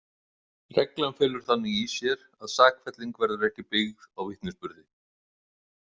Reglan felur þannig í sér að sakfelling verður ekki byggð á vitnisburði.